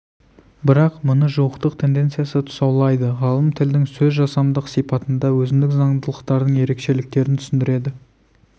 бірақ мұны жуықтық тенденциясы тұсаулайды ғалым тілдің сөзжасамдық сипатында өзіндік заңдылықтардың ерекшелігін түсіндіреді